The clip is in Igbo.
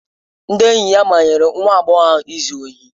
Ndị enyi ya manyere nwa agbọghọ ahụ ịzụ ohi.